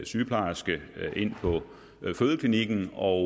sygeplejerske ind på fødeklinikken og